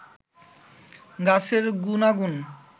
গাছের গুনাগুন